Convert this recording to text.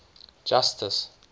justice